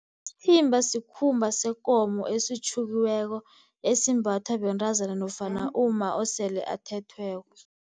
Isithimba sikhumba sekomo esitjhukiweko esimbathwa bentazana nofana umma osele athethweko.